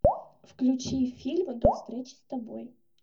включи фильм до встречи с тобой